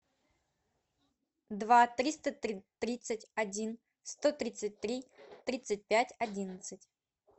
два триста тридцать один сто тридцать три тридцать пять одиннадцать